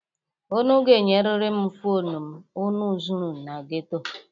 Unu ga-enyeriri m fonu m unu zuru na geto.